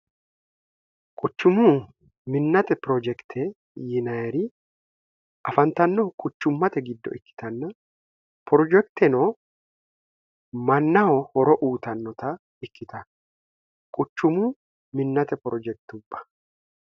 quchumu minnate pirojekite yiinayeri afantannohu kuchummate giddo ikkitanna projekiteno mannaho horo uutannota ikkitan quchumu minnate projektubba